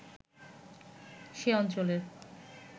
সে অঞ্চলের